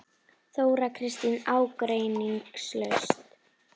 Þóra Kristín: Ágreiningslaust?